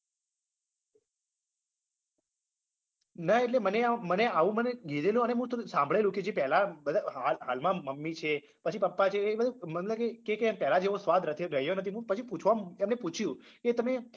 ના એટલે મને આમ મને આવું મને કીધેલું અને મું થોડું સાંભળેલુ કે જે પેલા બધા હાલ હાલમાં મમ્મી છે પછી પપ્પા છે એ બધા મને લાગે કે કે પેલા જેવો સ્વાદ રથી રહ્યો નથી મું પછી પૂછવા એમને પૂછ્યું કે તમે